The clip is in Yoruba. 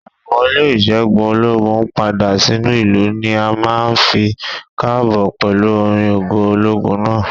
Ì wọlé ìṣẹ́gun ológun padà sínú ìlú ni a máa ń fi k'ààbò pẹ̀lú orin ògo ológun náà